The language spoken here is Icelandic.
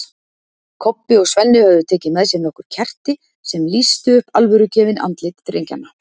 Kobbi og Svenni höfðu tekið með sér nokkur kerti sem lýstu upp alvörugefin andlit drengjanna.